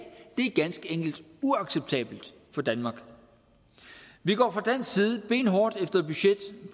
er ganske enkelt uacceptabelt for danmark vi går fra dansk side benhårdt efter et budget